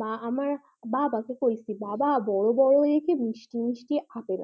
মা আমারা বাবাকে কইছে বাবা বড় বড় এনেছে মিষ্টি মিষ্টি আপেল